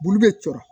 Bulu bɛ cɔrɔ